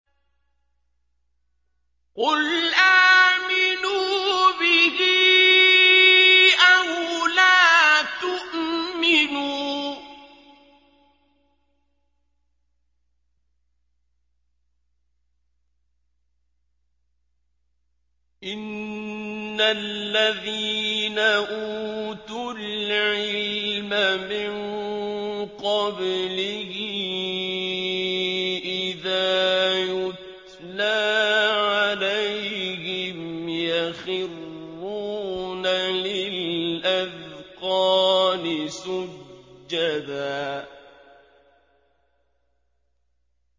قُلْ آمِنُوا بِهِ أَوْ لَا تُؤْمِنُوا ۚ إِنَّ الَّذِينَ أُوتُوا الْعِلْمَ مِن قَبْلِهِ إِذَا يُتْلَىٰ عَلَيْهِمْ يَخِرُّونَ لِلْأَذْقَانِ سُجَّدًا